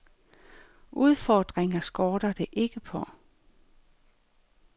Udfordringer skorter det ikke på.